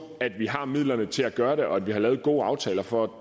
at vi har midlerne til at gøre det og at vi har lavet gode aftaler for at